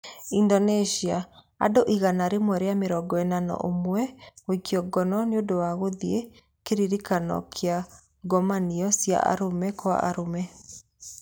Indonesia: Andũ 141 gũikio ngono nĩ ũndũ wa gũthiĩ kĩririkano kĩa ngomanio cia arũme kwa arũme